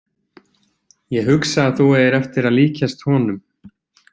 Ég hugsa að þú eigir eftir að líkjast honum.